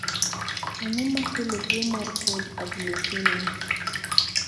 Ang'o makelo tuwo mar cold agglutinin?